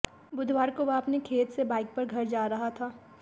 बुधवार को वह अपने खेत से बाइक पर घर जा रहा था